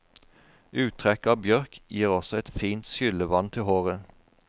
Uttrekk av bjørk gir også et fint skyllevann til håret.